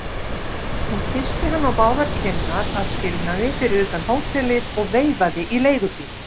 Hún kyssti hann á báðar kinnar að skilnaði fyrir utan hótelið og veifaði í leigubíl.